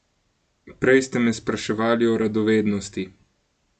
Prej ste me spraševali o radovednosti.